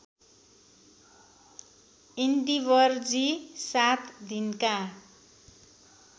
इन्डिवरजी सात दिनका